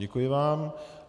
Děkuji vám.